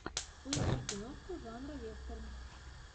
поищи киношку жанра вестерн